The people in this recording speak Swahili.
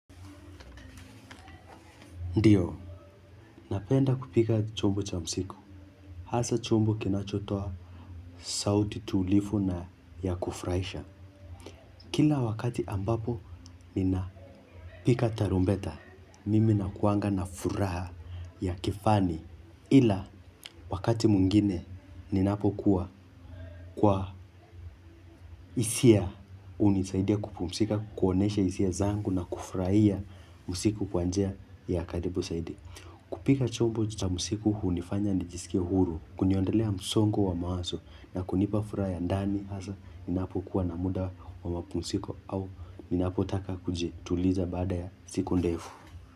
Ndiyo, napenda kupika chombo cha msiku. Hasa chombo kinachotoa sauti tulivu na ya kufurahisha. Kila wakati ambapo, ninapiga tarumbeta. Mimi nakuanga na furaha ya kifani. Ila, wakati mwingine, ninapokuwa kwa hisia hunisaidia kupumzika, kuonesha hisia zangu na kufurahia mziki kwa njia ya karibu zaidi. Kupiga chombo cha mziki hunifanya nijisikie huru. Kuniondolea msongo wa mawazo na kunipa furaha ya ndani hasa inapokuwa na muda wa mapumziko au ninapotaka kuji tuliza baada ya siku ndefu.